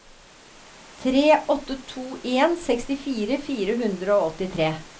tre åtte to en sekstifire fire hundre og åttitre